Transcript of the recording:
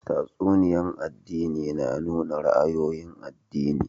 Tatsuniya'n addini na nuna ra'ayoyin addini.